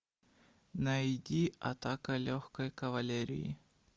найди атака легкой кавалерии